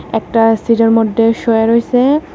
একটা সিডের মডডে শোয়া রইসে।